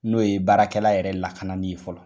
N'o ye baarakɛla yɛrɛ lakani ye fɔlɔ.